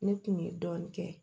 Ne kun ye dɔɔnin kɛ